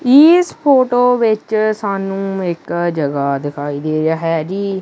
ਇੱਸ ਫ਼ੋਟੋ ਵਿੱਚ ਸਾਨੂੰ ਇੱਕ ਜਗਹਾ ਦਿਖਾਈ ਦੇ ਰਿਹਾ ਹੈ ਜੀ।